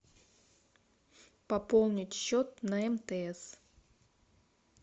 пополнить счет на мтс